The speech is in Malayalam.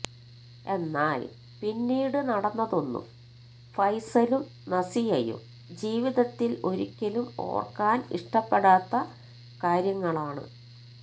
എന്നാല് പിന്നീട് നടന്നതൊന്നും ഫൈസലും നസിയയും ജീവിതത്തില് ഒരിക്കലും ഓര്ക്കാന് ഇഷ്ടപ്പെടാത്ത കാര്യങ്ങളാണ്